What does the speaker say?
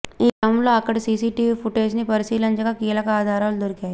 ఈ క్రమంలో అక్కడి సీసీటీవీ ఫుటేజీని పరిశీలించగా కీలక ఆధారాలు దొరికాయి